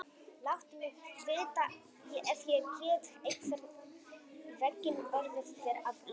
Láttu mig vita, ef ég get einhvern veginn orðið þér að liði.